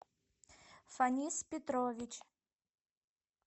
фанис петрович